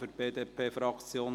Für die BDP-Fraktion: